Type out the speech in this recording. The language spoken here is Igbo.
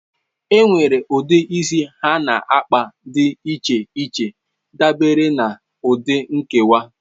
Enwere ụdị isi ha na kpa dị iche iche dabere na ụdị nkewa.